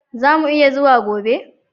Zamu iya zuwa gobe